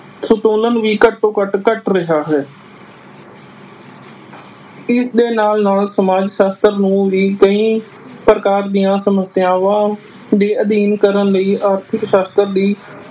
ਸਪੋਲਣ ਵੀ ਘਟੋ ਘਟ ਕਟ ਰਿਹਾ ਹੈ ਇਸ ਦੇ ਨਾਲ ਨਾਲ ਸਮਾਜ ਸਾਸਤ੍ਰ ਨੂੰ ਵੀ ਕਈ ਪ੍ਰਕਾਰ ਦੀਆ ਸਮਸਿਆਵਾਂ ਦੇ ਕਰਨ ਲਈ ਆਰਥਿਕ ਸਾਸਤ੍ਰ ਦੀ